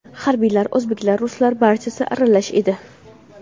Harbiylar, o‘zbeklar, ruslar, barchasi aralash edi.